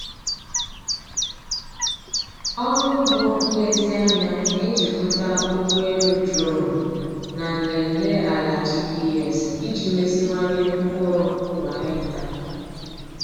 Ọrụ ugbo nlezianya na-ejikọta ụgbọ elu duronu na nlele ala GPS iji meziwanye mkpụrụ kwa hekta.